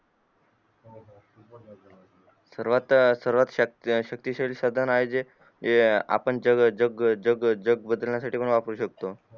सर्वात सर्वात शक्ती शाली साधन आहे जे आपण हे जग जग जग बदलण्या साठी पण वापरू शकतो